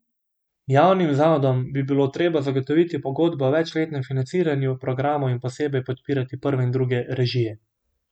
Javnim zavodom bi bilo treba zagotoviti pogodbe o večletnem financiranju programov in posebej podpirati prve in druge režije.